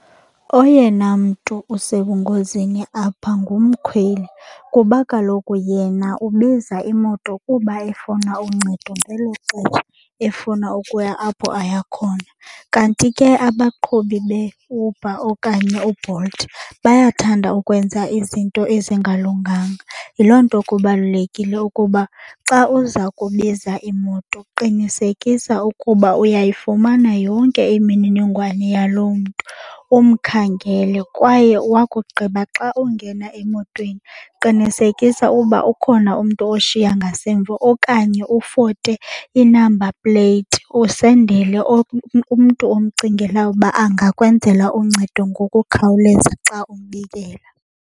Oyena mntu usebungozini apha ngumkhweli kuba kaloku yena ubiza imoto kuba efuna uncedo ngelo xesha efuna ukuya apho aya khona. Kanti ke abaqhubi beUber okanye uBolt bayathanda ukwenza izinto ezingalunganga. Yiloo nto kubalulekile ukuba xa uza kubiza imoto qinisekisa ukuba uyayifumana yonke imininingwane yaloo mntu umkhangele. Kwaye wakugqiba xa ungena emotweni qinisekisa uba ukhona umntu oshiya ngasemva okanye ufote i-number plate usendele umntu omcingela uba angakwenzela uncedo ngokukhawuleza xa umbikela.